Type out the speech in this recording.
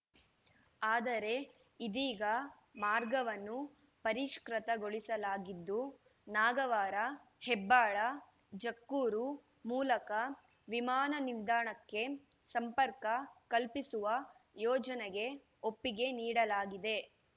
ಆದರೆ ಇದೀಗ ಮಾರ್ಗವನ್ನು ಪರಿಷ್ಕೃತಗೊಳಿಸಲಾಗಿದ್ದು ನಾಗವಾರ ಹೆಬ್ಬಾಳ ಜಕ್ಕೂರು ಮೂಲಕ ವಿಮಾನ ನಿಲ್ದಾಣಕ್ಕೆ ಸಂಪರ್ಕ ಕಲ್ಪಿಸುವ ಯೋಜನೆಗೆ ಒಪ್ಪಿಗೆ ನೀಡಲಾಗಿದೆ